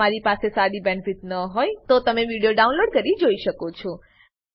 જો તમારી પાસે સારી બેન્ડવિડ્થ ન હોય તો તમે વિડીયો ડાઉનલોડ કરીને જોઈ શકો છો